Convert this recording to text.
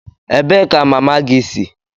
Ebee ka mama gị si?